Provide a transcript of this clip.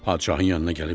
Padişahın yanına gəlib dedi: